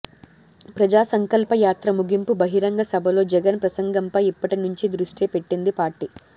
ప్రజా సంకల్ప యాత్ర ముగింపు బహిరంగ సభలో జగన్ ప్రసంగంపై ఇప్పటి నుంచే దృష్టి పెట్టింది పార్టీ